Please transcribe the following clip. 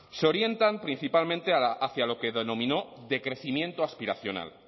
se orientan principalmente hacia lo que denominó decrecimiento aspiracional